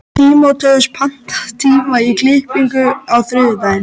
Tímóteus, pantaðu tíma í klippingu á þriðjudaginn.